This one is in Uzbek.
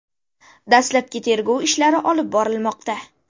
Dastlabki tergov ishlari olib borilmoqda.